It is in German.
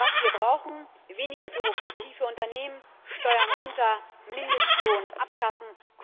Was wir brauchen weniger Bürokratie für Unternehmen, Steuern runter, Mindestlohn abschaffen.